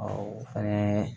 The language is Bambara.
o fɛnɛ